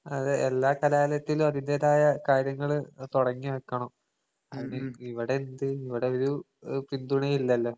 അതെ എല്ലാ കലാലയത്തിലും അതിന്റേതായ കാര്യങ്ങള് അത് തൊടങ്ങിവെക്കണം. ഇവടെന്ത് ഇവടൊരു ഏഹ് പിന്തുണേയില്ലല്ലോ.